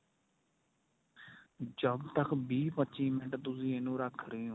ਜਦ ਤੱਕ ਵੀਹ ਪੱਚੀ ਮਿੰਟ ਤੁਸੀਂ ਇਨੂੰ ਰੱਖ ਰਹੇ ਓ.